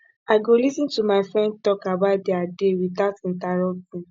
i go lis ten to my friend talk about dia day without interrupting